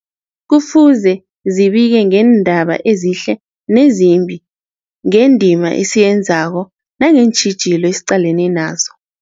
Kufuze zibike ngeendaba ezihle nezimbi, ngendima esiyenzako nangeentjhijilo esiqalene nazo.